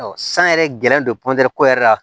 san yɛrɛ gɛlɛnlen don ko yɛrɛ la